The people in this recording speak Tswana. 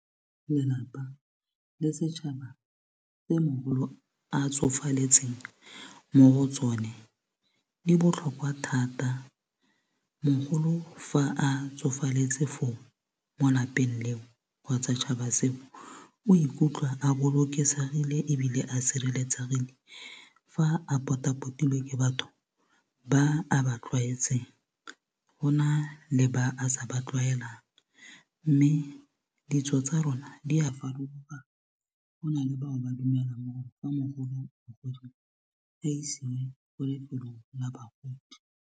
Lelapa le setšhaba tse mogolo a tsofaletseng mo go tsone di botlhokwa thata mogolo fa a tsofaletse foo mo lapeng leo kgotsa 'tšhaba seo o ikutlwa a bolokesegile ebile a sireletsegile fa a potapotilwe ke batho ba a ba tlwaetseng go na le ba a sa ba tlwaelang mme ditso tsa rona di a farologana go na le bao ba dumela gore fa mogolo a isiwe ko lefelong la bagodi.